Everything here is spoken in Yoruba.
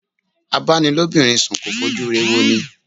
A-bá-ni-lóbinrin sùn kò fojú ire wọni.